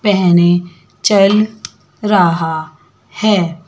पहने चल रहा है।